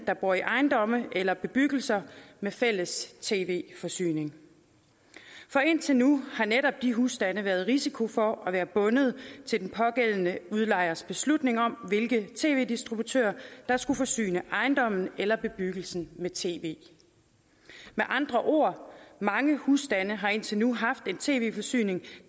der bor i ejendomme eller bebyggelser med fælles tv forsyning for indtil nu har netop de husstande været i risiko for at være bundet til den pågældende udlejers beslutning om hvilke tv distributører der skulle forsyne ejendommen eller bebyggelsen med tv med andre ord mange husstande har indtil nu haft en tv forsyning